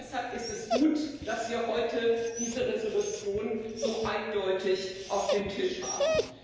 Deshalb ist es gut, dass wir heute diese Entschließung so eindeutig auf dem Tisch haben.